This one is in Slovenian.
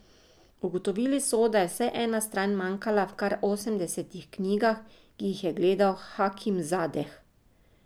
Ugotovili so, da je vsaj ena stran manjkala v kar osemdesetih knjigah, ki jih je gledal Hakimzadeh.